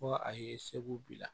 Fɔ a ye segu bi la